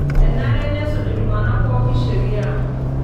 Enare nesuj iltung'ana pookin sheria.